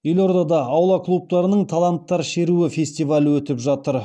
елордада аула клубтарының таланттар шеруі фестивалі өтіп жатыр